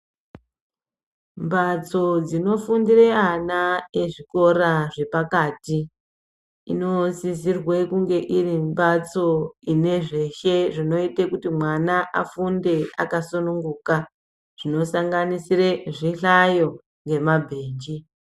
Mbatso dzinofundire ana ezvikora zvepakati inosisirwe kunge iri mbatso ine zveshee zvinoite kuti mwana afunde akasununguka zvinosanganisire zvihlayo nemabhenji.